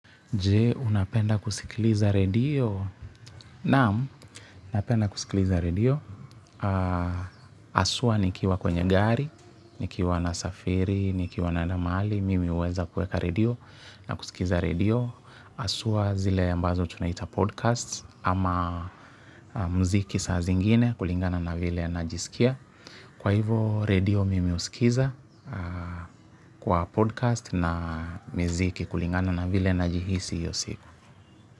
Jee, unapenda kusikiliza redio? Naam, napenda kusikiliza redio. Haswa nikiwa kwenye gari, nikiwa nasafiri, nikiwa naenda mahali. Mimi huweza kuweka redio na kusikiza redio. Haswa zile ambazo tunaita podcast ama mziki saa zingine kulingana na vile najiskia. Kwa hivo redio mimi huskiza kwa podcast na miziki kulingana na vile najihisi iyo siku.